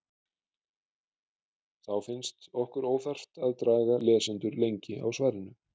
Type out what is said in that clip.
Þá finnst okkur óþarft að draga lesendur lengur á svarinu.